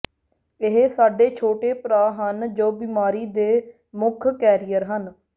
ਇਹ ਸਾਡੇ ਛੋਟੇ ਭਰਾ ਹਨ ਜੋ ਬੀਮਾਰੀ ਦੇ ਮੁੱਖ ਕੈਰੀਅਰ ਹਨ